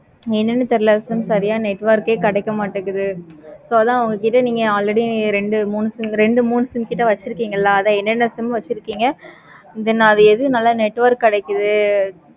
என்னென்னு தெரியல சரியா network ஏ கிடைக்க மாடிக்கு. so அதான் உங்ககிட்ட நீங்க already ரெண்டு மூணு sim ரெண்டு மூணு sim கிட்ட வச்சிருக்கீங்களா? என்ன என்ன sim வச்சிருக்கீங்க. then அதுல எது நல்ல network கிடைக்குது.